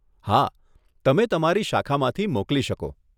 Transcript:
હા, તમે તમારી શાખામાંથી મોકલી શકો.